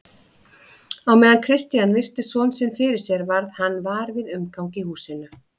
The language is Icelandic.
Á meðan Christian virti son sinn fyrir sér varð hann var við umgang í húsinu.